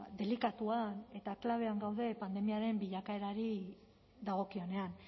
delikatuan eta klabean pandemiaren bilakaerari dagokionean